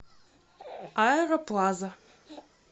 аэроплаза